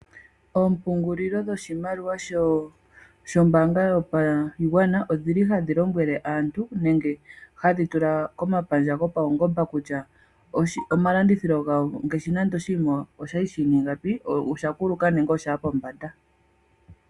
Oompungulilo dhoshimaliwa dhombaanga yotango yopashigwana odhili hadhi lombwele aantu nenge hadhi tula komapandja gawo gopawungomba kutya omalandithilo gawo ogeli ngiini, ngaashi nande kutya oshinima oshali shina ingapi, na oshakuluka nenge oshaya pombanda.